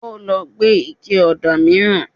Ó lọ gbé ike ọ̀dà mìíràn